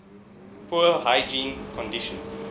poor hygiene conditions